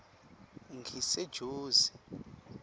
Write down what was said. ngisejozi